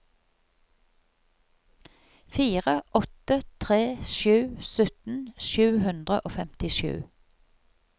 fire åtte tre sju sytten sju hundre og femtisju